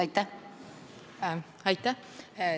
Aitäh!